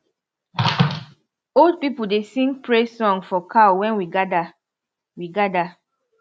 old people dey sing praise song for cow when we gather we gather